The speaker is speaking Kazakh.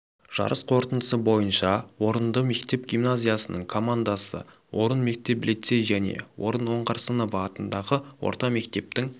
жарыс қорытындысы бойынша орынды мектеп гимназиясының командасы орын мектеп лицей және орын оңғарсынова атындағы орта мектептің